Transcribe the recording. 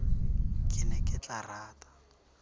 ke ne ke tla rata